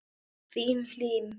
Þín, Hlín.